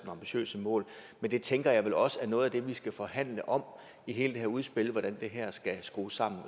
ambitiøse mål men det tænker jeg vel også er noget af det vi skal forhandle om i hele det her udspil altså hvordan det her skal skrues sammen